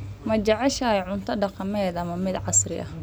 Ma jeceshahay cunto dhaqameed ama mid casri ah?